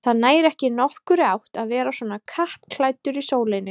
Það nær ekki nokkurri átt að vera svona kappklæddur í sólinni